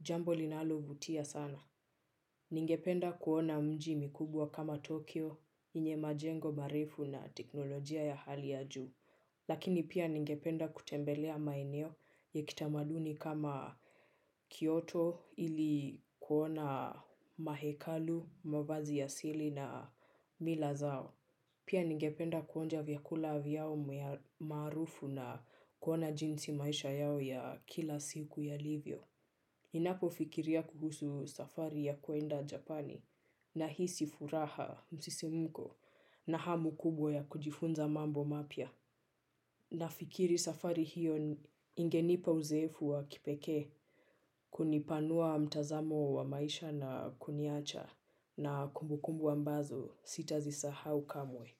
Jambo linalovutia sana. Ningependa kuona miji mkubwa kama Tokyo yenye majengo marefu na teknolojia ya hali ya juu, lakini pia ningependa kutembelea maeneo ya kitamaduni kama kioto ili kuona mahekalu, mavazi ya asili na mila zao. Pia ningependa kuonja vyakula vyao maarufu na kuona jinsi maisha yao ya kila siku yalivyo. Ninapofikiria kuhusu safari ya kwenda Japani nahisi furaha, msisimko na hamu kubwa ya kujifunza mambo mapya. Nafikiri safari hiyo ingenipa uzoefu wa kipekee kunipanua mtazamo wa maisha na kuniacha na kumbukumbu ambazo sitazisahau kamwe.